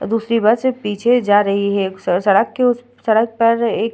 दूसरी बस पीछे जा रही है सड़-सड़क के उस सड़क पर एक --